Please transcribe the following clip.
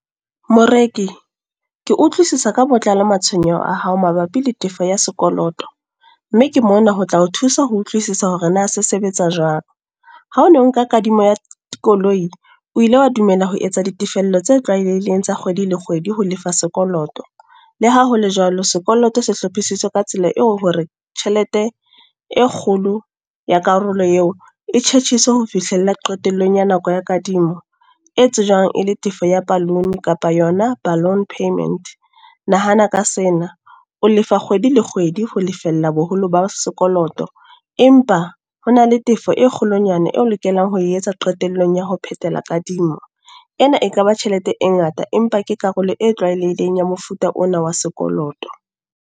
Moreki, ke utlwisisa ka botlalo matshwenyeho a hao mabapi le tefo ya sekoloto. Mme ke mona ho tla o thusa ho utlwisisa hore na se sebetsa jwang. Ha o no nka kadimo ya koloi, o ile wa dumela ho etsa ditefello tse tlwaelehileng tsa kgwedi le kgwedi ho lefa sekoloto. Le ha hole jwalo, sekoloto se hlophisitswe ka tsela eo hore tjhelete e kgolo ya karolo eo, e tjhetjhiswe ho fihlella qetellong ya nako ya kadimo. E tsejwang e le tefo ya balloon kapa yona balloon payment. Nahana ka sena, o lefa kgwedi le kgwedi ho lefella boholo ba sekoloto. Empa ho na le tefo e kgolonyana eo lokelang ho etsa qetellong ya ho phethela kadimo. Ena e kaba tjhelete e ngata, empa ke karolo e tlwaelehileng ya mofuta ona wa sekoloto.